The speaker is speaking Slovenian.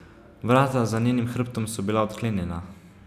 Vrata za njenim hrbtom so bila odklenjena.